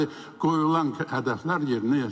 Deməli, qoyulan hədəflər yerinə yetirilməyib.